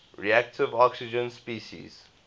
reactive oxygen species